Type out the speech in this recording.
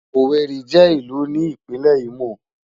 Ówéri jè ilù ni Ipinlè Imó